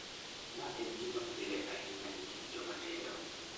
Ma en gima pile ahinya e kind joma tindo.